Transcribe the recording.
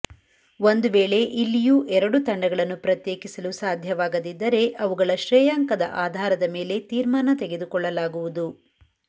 ಒಂದು ವೇಳೆ ಇಲ್ಲಿಯೂ ಎರಡು ತಂಡಗಳನ್ನು ಪ್ರತ್ಯೇಕಿಲು ಸಾಧ್ಯವಾಗದಿದ್ದರೆ ಅವುಗಳ ಶ್ರೇಯಾಂಕದ ಆಧಾರದ ಮೇಲೆ ತೀರ್ಮಾನ ತೆಗೆದುಕೊಳ್ಳಲಾಗುವುದು